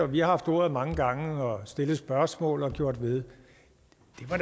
vi har haft ordet mange gange og stillet spørgsmål og gjort ved